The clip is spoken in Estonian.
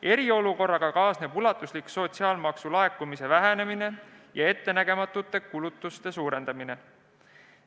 Eriolukorraga kaasneb ulatuslik sotsiaalmaksu laekumise vähenemine ja ettenägematute kulutuste suurendamine.